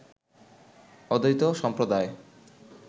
অদ্বৈত সম্প্রদায়